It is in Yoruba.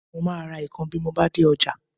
Mo máa ra ikàn bí mo bá dé ọjà